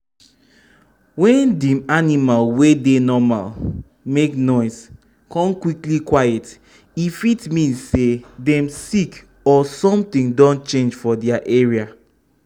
wen dem animal wey dey normally make noise kon quickly quiet e fit mean say dem sick or something don change for their area.